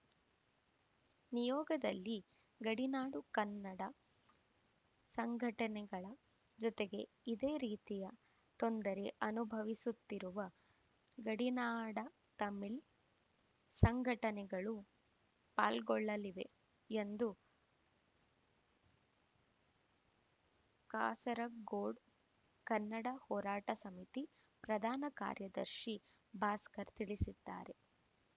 ನಿಯೋಗದಲ್ಲಿ ಗಡಿನಾಡು ಕನ್ನಡ ಸಂಘಟನೆಗಳ ಜೊತೆಗೆ ಇದೇ ರೀತಿಯ ತೊಂದರೆ ಅನುಭವಿಸುತ್ತಿರುವ ಗಡಿನಾಡ ತಮಿಳು ಸಂಘಟನೆಗಳೂ ಪಾಲ್ಗೊಳ್ಳಲಿವೆ ಎಂದು ಕಾಸರಗೋಡು ಕನ್ನಡ ಹೋರಾಟ ಸಮಿತಿ ಪ್ರಧಾನ ಕಾರ್ಯದರ್ಶಿ ಭಾಸ್ಕರ ತಿಳಿಸಿದ್ದಾರೆ